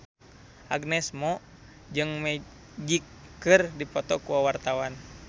Agnes Mo jeung Magic keur dipoto ku wartawan